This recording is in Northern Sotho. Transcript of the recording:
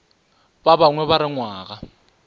ba bangwe ba re ngwana